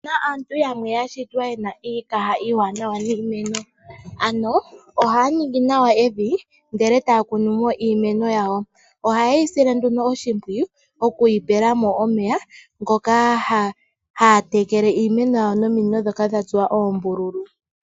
Opu na aantu yamwe ya shitwa ye na iikaha iiwanawa niimeno ano ohaa ningi nawa evi, ndele e taya kunu mo iimeno yawo, ohaye yi sile oshimpwiyu shokwiitekela nomeya taa longitha oopayipi ndhoka dha tsuwa oombululu.